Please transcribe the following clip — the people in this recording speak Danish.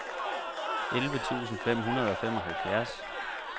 elleve tusind fem hundrede og femoghalvfjerds